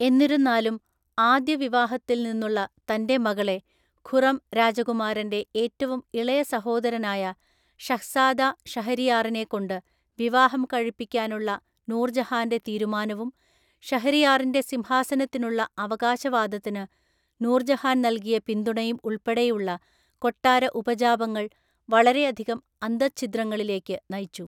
എന്നിരുന്നാലും, ആദ്യവിവാഹത്തിൽ നിന്നുള്ള തൻ്റെ മകളെ ഖുറം രാജകുമാരൻ്റെ ഏറ്റവും ഇളയ സഹോദരനായ ഷഹ്സാദ ഷഹരിയാറിനെ കൊണ്ട് വിവാഹം കഴിപ്പിക്കാനുള്ള നൂർജഹാൻ്റെ തീരുമാനവും ഷഹരിയാറിൻ്റെ സിംഹാസനത്തിനുള്ള അവകാശവാദത്തിന് നൂർജഹാൻ നൽകിയ പിന്തുണയും ഉൾപ്പെടെയുള്ള കൊട്ടാര ഉപജാപങ്ങൾ വളരെയധികം അന്തർച്ഛിദ്രങ്ങളിലേക്ക് നയിച്ചു.